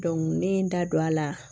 ne ye n da don a la